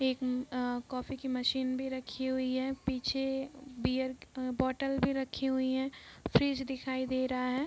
एक अ कॉफी की मशीन भी रखी हुई है | पीछे बियर बोतल भी रखी हुई है | फ्रिज दिखाई दे रहा है |